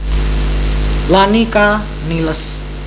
Lani K Niles